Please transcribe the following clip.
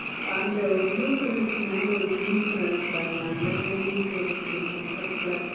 அந்த ஒரு blue color க்கு மேலே ஒரு green color இருக்கு பாருங்களேன் அந்த அந்த green color எடுக்கிறீங்களா அந்த பச்சை color